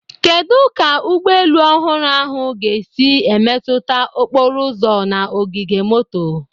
Kedu ka ụgbọ elu ọhụrụ ahụ ga-esi emetụta okporo ụzọ na ogige moto?